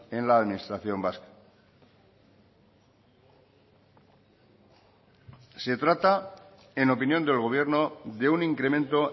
en la administración vasca se trata en opinión del gobierno de un incremento